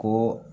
Ko